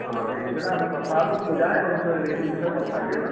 ହଁ, ସେଇସବୁ ବିଷୟରେ ଆମେ କଥା ହେବା ମୁଁ ଯାଏ ଏଇ ସବୁ ବିଷୟରେ ଆମେ କଥା ହେବି ହେଲା।